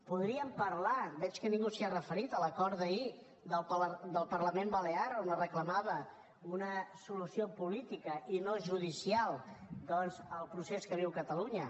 podríem parlar veig que ningú s’hi ha referit de l’acord d’ahir del parlament balear on es reclamava una solució política i no judicial doncs al procés que viu catalunya